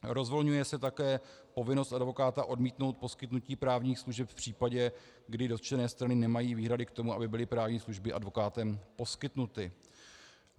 Rozvolňuje se také povinnost advokáta odmítnout poskytnutí právních služeb v případě, kdy dotčené strany nemají výhrady k tomu, aby byly právní služby advokátem poskytnuty.